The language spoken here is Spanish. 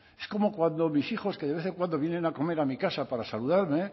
es como cuando mis hijos que de vez en cuando vienen a comer a mi casa para saludarme